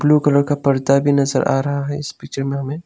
Blue colour का पर्दा भी नजर आ रहा है इस पिक्चर में हमें।